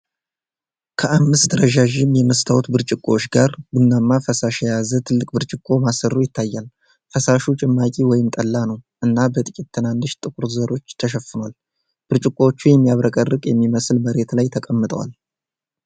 ከአምስት ረዣዥም የመስታወት ብርጭቆዎች ጋር ቡናማ ፈሳሽ የያዘ ትልቅ ብርጭቆ ማሰሮ ይታያል። ፈሳሹ ጭማቂ ወይም ጠላ ነው፣ እና በጥቂት ትናንሽ ጥቁር ዘሮች ተሸፍኗል። ብርጭቆዎቹ የሚያብረቀርቅ በሚመስል መሬት ላይ ተቀምጠዋል።